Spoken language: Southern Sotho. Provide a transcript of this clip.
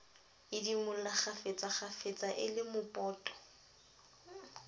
idimola kgafetsakgafetsa e le mopoto